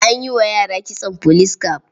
An yi wa yara kitson police cap.